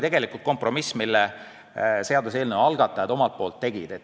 See oli kompromiss, mille seaduseelnõu algatajad omalt poolt tegid.